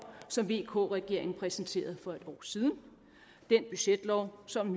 som vk regeringen præsenterede for et år siden den budgetlov som